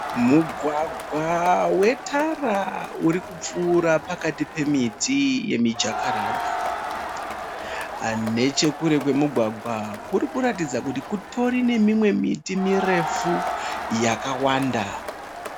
Mugwagwa wetara urikupfuura pakati pemiti yemijakaranda. Nechekure kwemugwagwa kurikutaridza kuti kutori nemimwe miti mirefu yakawanda.